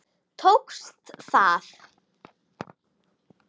Tókst það.